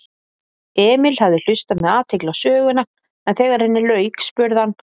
Emil hafði hlustað með athygli á söguna en þegar henni lauk spurði hann